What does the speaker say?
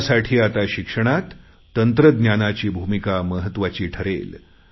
त्यासाठी आता शिक्षणात तंत्रज्ञानाची भूमिका महत्त्वाची ठरेल